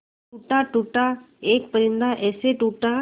टूटा टूटा एक परिंदा ऐसे टूटा